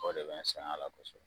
O de bɛ n sɛngɛn a la kosɔbɛ